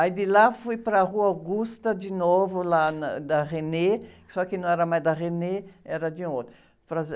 Aí, de lá, fui para a Rua Augusta de novo, lá na, da, só que não era mais da, era de outra.